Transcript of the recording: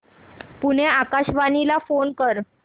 पुणे आकाशवाणीला फोन कर